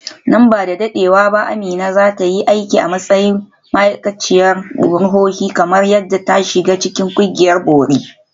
Nan ba da dadewa ba Amina za ta yi aiki a matsayin ma’aikaciyar ruhohi kamar yadda ta shiga cikin ƙungiyar bori.